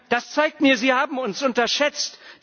Das zeigt mir, Sie haben uns unterschätzt.